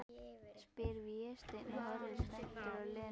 spyr Vésteinn og horfir spenntur á Lenu.